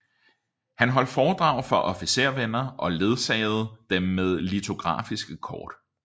Han holdt foredrag for officervenner og ledsagede dem med litografiske kort